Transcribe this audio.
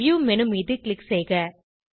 view menu மீது click செய்க